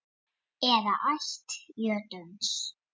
eða ætt jötuns